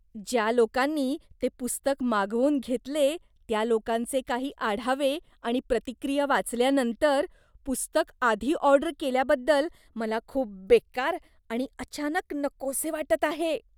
ज्या लोकांनी ते पुस्तक मागवून घेतले त्या लोकांचे काही आढावे आणि प्रतिक्रिया वाचल्यानंतर, पुस्तक आधी ऑर्डर केल्याबद्दल मला खूप बेकार आणि अचानक नकोसे वाटत आहे.